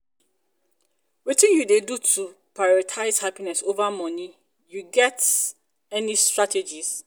wetin you dey do to prioritize happiness over money you get you get any strategies?